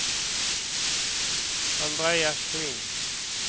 Andreas Kling